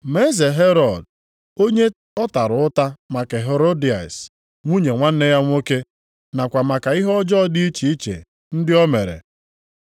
Ma Eze Herọd, onye ọ tara ụta maka Herodịas nwunye nwanne ya nwoke, nakwa maka ihe ọjọọ dị iche iche ndị o mere,